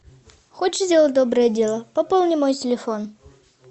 хочешь сделать доброе дело пополни мой телефон